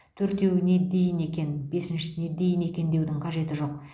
төртеуіне дейін екен бесіншісіне дейін екен деудің қажеті жоқ